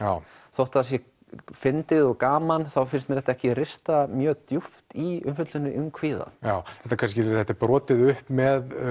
þótt það sé fyndið og gaman þá finnst mér þetta ekki rista mjög djúpt í umfjöllun um kvíða þetta er kannski brotið upp með